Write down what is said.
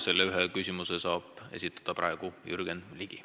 Selle ühe küsimuse saab praegu esitada Jürgen Ligi.